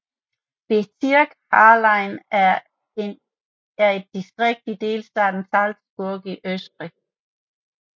Bezirk Hallein er et distrikt i delstaten Salzburg i Østrig